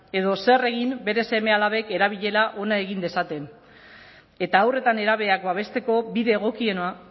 edo zer egin bere seme alabek erabilera ona egin dezaten eta haur eta nerabeak babesteko bide egokiena